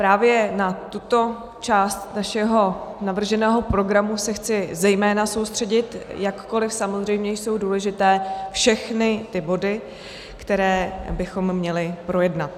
Právě na tuto část našeho navrženého programu se chci zejména soustředit, jakkoliv samozřejmě jsou důležité všechny ty body, které bychom měli projednat.